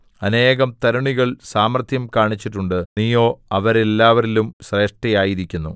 അനേകം തരുണികൾ സാമർത്ഥ്യം കാണിച്ചിട്ടുണ്ട് നീയോ അവരെല്ലാവരിലും ശ്രേഷ്ഠയായിരിക്കുന്നു